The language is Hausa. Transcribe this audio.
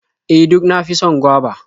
E, duk na fi son goba.